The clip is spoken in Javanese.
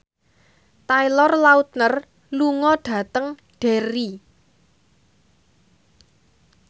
Taylor Lautner lunga dhateng Derry